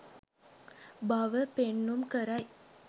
බව පෙන්නුම් කරයි.